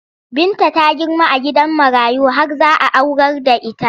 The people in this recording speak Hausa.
Binta ta girma a gidan marayu har za a aurar da ita.